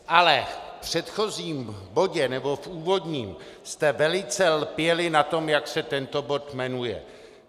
Ale v předchozím bodě, nebo v úvodním, jste velice lpěli na tom, jak se tento bod jmenuje.